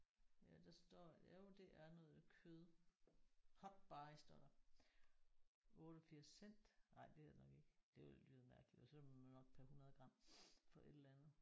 Ja der står jo det er noget kød. Hot buy står der. 88 cent. Ej det er det nok ikke. Det ville lyde mærkeligt. Så er det nok per 100 gram for et eller andet